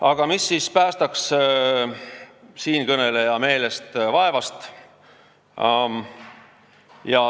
Aga mis siis päästaks meid vaevast siinkõneleja meelest?